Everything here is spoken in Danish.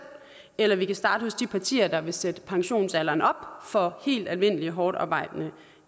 eller vi kan starte hos de partier der vil sætte pensionsalderen op for helt almindelige hårdtarbejdende